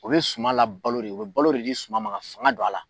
U be suman labalo de o bɛ balo le di suman ma ka fanga don a la.